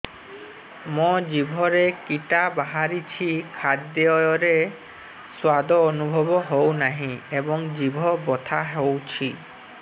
ମୋ ଜିଭରେ କିଟା ବାହାରିଛି ଖାଦ୍ଯୟରେ ସ୍ୱାଦ ଅନୁଭବ ହଉନାହିଁ ଏବଂ ଜିଭ ବଥା ହଉଛି